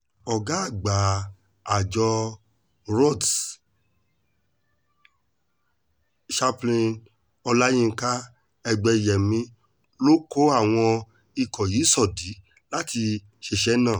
ọ̀gá àgbà àjọ rots champ olayinka egbẹ́yẹ̀mí ló kó àwọn ikọ̀ yìí sódì láti ṣiṣẹ́ náà